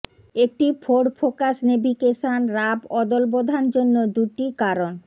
একটি Ford Focus navigation রাফ অদলবধান জন্য দুটি কারণ